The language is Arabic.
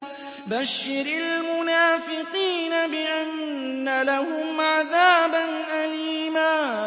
بَشِّرِ الْمُنَافِقِينَ بِأَنَّ لَهُمْ عَذَابًا أَلِيمًا